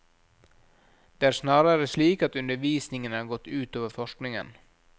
Det er snarere slik at undervisningen har gått ut over forskningen.